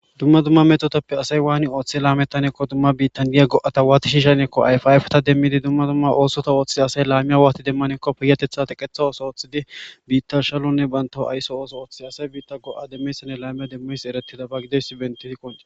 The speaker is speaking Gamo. Dumma dumma mettotappe assay waani oothi laametannako dumma biita mettota waati shishanakko ayffe affeta demiddi dumma dumma ossotta oththiza assay laame waati demmanako payatetha teqqetha otho oththidi biita shamonne bantta aysso otho oththidi erretidaba giddidaysi bettidi qoncces.